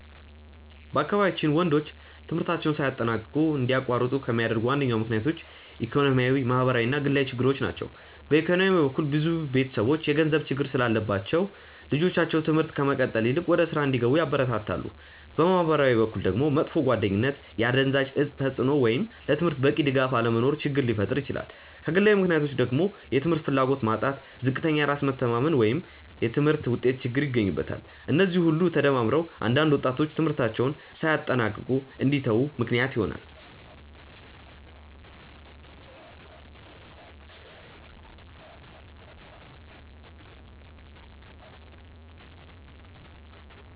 በአካባቢያችን ወንዶች ትምህርታቸውን ሳያጠናቅቁ እንዲያቋርጡ ከሚያደርጉ ዋነኞቹ ምክንያቶች ኢኮኖሚያዊ፣ ማህበራዊ እና ግላዊ ችግሮች ናቸው። በኢኮኖሚ በኩል ብዙ ቤተሰቦች የገንዘብ ችግር ስላለባቸው ልጆቻቸው ትምህርት ከመቀጠል ይልቅ ወደ ሥራ እንዲገቡ ያበረታታሉ። በማህበራዊ በኩል ደግሞ መጥፎ ጓደኝነት፣ የአደንዛዥ እፅ ተጽእኖ ወይም ለትምህርት በቂ ድጋፍ አለመኖር ችግር ሊፈጥር ይችላል። ከግላዊ ምክንያቶች ደግሞ የትምህርት ፍላጎት ማጣት፣ ዝቅተኛ የራስ መተማመን ወይም የትምህርት ውጤት ችግር ይገኙበታል። እነዚህ ሁሉ ተደማምረው አንዳንድ ወጣቶች ትምህርታቸውን ሳያጠናቅቁ እንዲተዉ ምክንያት ይሆናሉ።